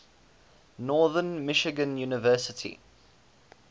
northern michigan university